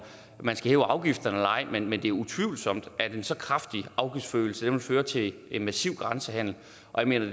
man skal hæve afgifterne eller ej men men det er utvivlsomt at en så kraftig afgiftsforøgelse vil føre til en massiv grænsehandel og jeg